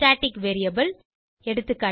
static variable எகா